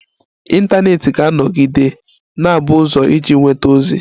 Ịntanetị ga-anọgide na-abụ ụzọ iji nweta ozi.